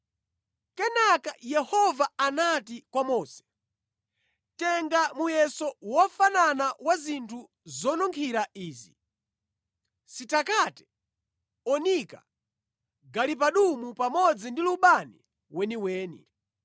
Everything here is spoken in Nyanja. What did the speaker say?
Kenaka Yehova anati kwa Mose, “Tenga muyeso wofanana wa zinthu zonunkhira izi: sitakate, onika, galibanumu pamodzi ndi lubani weniweni.